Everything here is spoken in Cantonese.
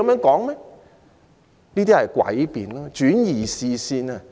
這些是詭辯，旨在轉移視線。